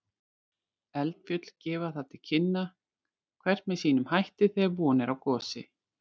Eldfjöll gefa það til kynna, hvert með sínum hætti, þegar von er á gosi.